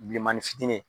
Bilenmanin fitinin